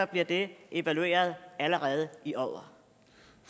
bliver det evalueret allerede i år